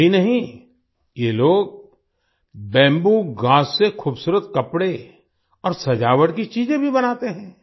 यही नहीं ये लोग बैम्बू घास से खुबसूरत कपड़े और सजावट की चीजें भी बनाते हैं